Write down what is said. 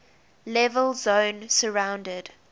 level zone surrounded